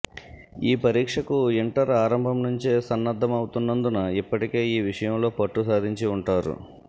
ఈ పరీక్షకు ఇంటర్ ఆరంభం నుంచే సన్నద్ధమవుతున్నందున ఇప్పటికే ఈ విషయంలో పట్టు సాధించి ఉంటారు